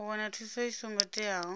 u wana thuso i songo teaho